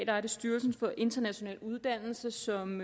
er styrelsen for international uddannelse som